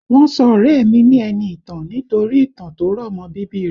Wọ́n sọ ọ̀rẹ́ ẹ mi ni Ẹniìtàn nítorí ìtàn tó rọ̀ mọ́ bíbí i rẹ̀